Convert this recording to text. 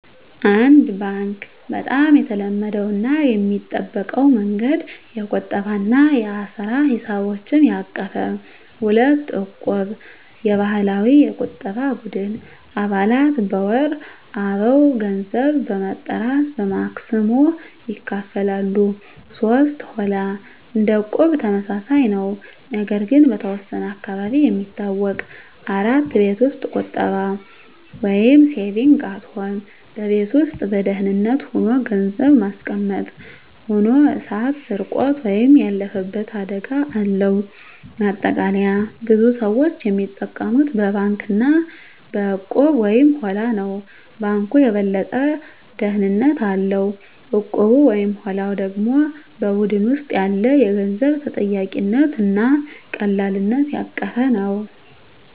1. ባንክ (Bank) - በጣም የተለመደው እና የሚጠበቀው መንገድ። የቁጠባ እና የአሰራ ሂሳቦችን ያቀፈ። 2. እቁብ (Equb) - የባህላዊ የቁጠባ ቡድን። አባላት በወር አበው ገንዘብ በመጠራት በማክሰሞ ይካፈላሉ። 3. ሆላ (Holla) - እንደ እቁብ ተመሳሳይ ነው፣ ነገር ግን በተወሰነ አካባቢ የሚታወቅ። 4. ቤት ውስጥ ቁጠባ (Saving at Home) - በቤት ውስጥ በደህንነት ሆኖ ገንዘብ ማስቀመጥ። ሆኖ እሳት፣ ስርቆት ወይም ያለፈበት አደጋ አለው። ማጠቃለያ ብዙ ሰዎች የሚጠቀሙት በባንክ እና በእቁብ/ሆላ ነው። ባንኩ የበለጠ ደህንነት አለው፣ እቁቡ/ሆላው ደግሞ በቡድን ውስጥ ያለ የገንዘብ ተጠያቂነት እና ቀላልነት ያቀፈ ነው።